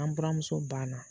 An buramuso ban na.